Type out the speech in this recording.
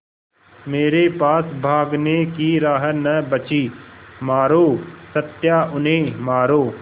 मेरे पास भागने की राह न बची मारो सत्या उन्हें मारो